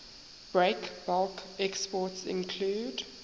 breakbulk exports include